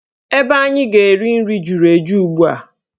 Ebe anyị ga-eri nri juru eju ugbua.